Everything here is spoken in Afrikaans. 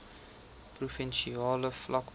provinsiale vlak plaas